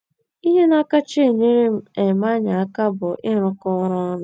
Ihe na - akacha enyere um anyị aka bụ ịrụkọ ọrụ ọnụ.